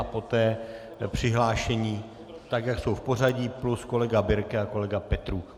A poté přihlášení tak, jak jsou v pořadí, plus kolega Birke a kolega Petrů.